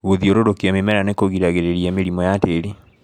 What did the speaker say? Gũthiurũrũkia mimera nĩkũgiragĩrĩria mĩrimũ ya tĩri.